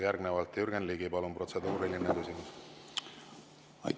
Järgnevalt Jürgen Ligi, palun, protseduuriline küsimus!